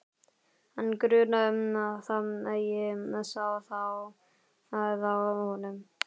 Hann grunaði það, ég sá það á honum.